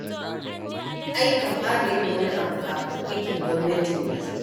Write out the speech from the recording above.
Ai ka fara yin wani abu kafin aikin gwamnatin ya zo.